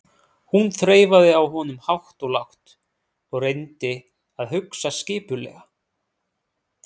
Hún þreifaði á honum hátt og lágt og reyndi að hugsa skipulega.